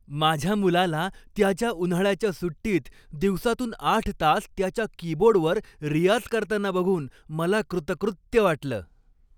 माझ्या मुलाला त्याच्या उन्हाळ्याच्या सुट्टीत दिवसातून आठ तास त्याच्या कीबोर्डवर रियाज करताना बघून मला कृतकृत्य वाटलं.